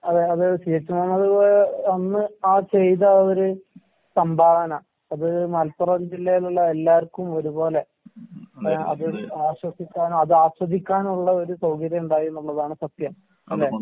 അതെ അത് C. H. Muhammad Koya അന്ന് ആ ചെയ്ത ആ ഒര് സംഭാവന അത് മലപ്പുറം ജില്ലേലുള്ള എല്ലാർക്കും ഒരുപോലെ അത് ആശ്വസിക്കാനതാസ്വദിക്കാനുള്ള ഒര് സൗകര്യം ഉണ്ടായീന്നുള്ളതാണ് സത്യം. അല്ലെ?